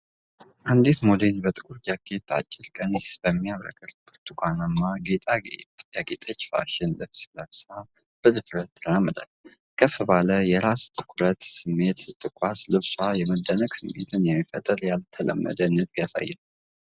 አንዲት ሞዴል በጥቁር ጃኬት፣ አጭር ቀሚስና በሚያብረቀርቅ ብርቱካናማ ጌጦች ያጌጠ ፋሽን ልብስ ለብሳ በድፍረት ትራመዳለች። ከፍ ባለ የራስ ትኩረት ስሜት ስትጓዝ፣ ልብሷ የመደነቅ ስሜት የሚፈጥር ያልተለመደ ንድፍ ያሳያል።